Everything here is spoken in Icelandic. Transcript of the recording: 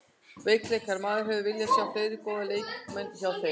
Veikleikar: Maður hefði viljað sjá fleiri góða leikmenn hjá þeim.